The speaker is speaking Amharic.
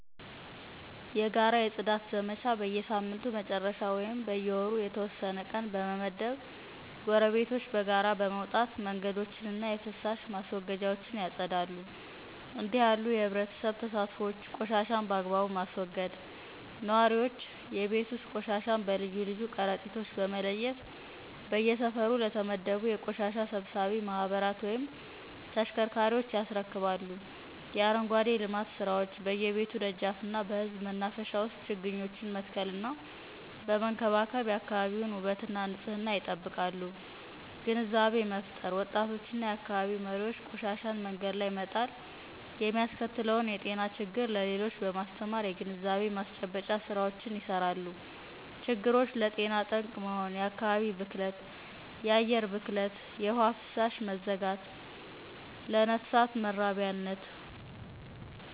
የጋራ የጽዳት ዘመቻ በየሳምንቱ መጨረሻ ወይም በየወሩ የተወሰነ ቀን በመመደብ፣ ጎረቤቶች በጋራ በመውጣት መንገዶችንና የፍሳሽ ማስወገጃዎችን ያጸዳሉ። እንዲህ ያሉ የኅብረተሰብ ተሳትፎዎች ቆሻሻን በአግባቡ ማስወገድ: ነዋሪዎች የቤት ውስጥ ቆሻሻን በልዩ ልዩ ከረጢቶች በመለየት፣ በየሰፈሩ ለተመደቡ የቆሻሻ ሰብሳቢ ማኅበራት ወይም ተሽከርካሪዎች ያስረክባሉ። የአረንጓዴ ልማት ስራዎች: በየቤቱ ደጃፍና በሕዝብ መናፈሻዎች ውስጥ ችግኞችን በመትከልና በመንከባከብ የአካባቢውን ውበትና ንፅህና ይጠብቃሉ። ግንዛቤ መፍጠር: ወጣቶችና የአካባቢው መሪዎች ቆሻሻን መንገድ ላይ መጣል የሚያስከትለውን የጤና ችግር ለሌሎች በማስተማር የግንዛቤ ማስጨበጫ ሥራዎችን ይሰራሉ። ችግሮች፦ ለጤና ጠንቅ መሆን፣ የአከባቢ ብክለት፣ የአየር ብክለት፣ የውሃ ፍሳሽ መዘጋት፣ ለነፍሳት መራቢያነት